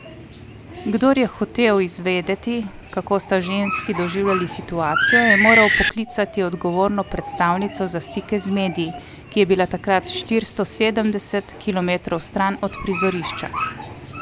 Kdor je hotel izvedeti, kako sta ženski doživeli situacijo, je moral poklicati odgovorno predstavnico za stike z mediji, ki je bila takrat štiristo sedemdeset kilometrov stran od prizorišča.